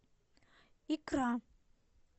икра